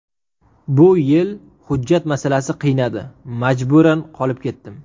Bu yil hujjat masalasi qiynadi, majburan qolib ketdim.